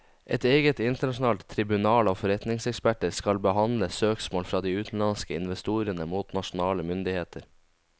Et eget internasjonalt tribunal av forretningseksperter skal behandle søksmål fra de utenlandske investorene mot nasjonale myndigheter.